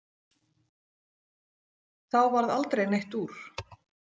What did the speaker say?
þá varð aldrei neitt úr.